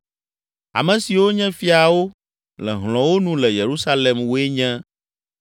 Ame siwo nye fiawo le hlɔ̃wo nu le Yerusalem woe nye: